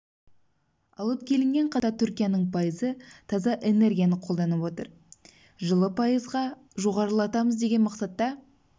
алып келінген қазіргі уақытта түркияның пайызы таза энергияны қолданып отыр жылы пайызға жоғарылатамыз деген мақсатта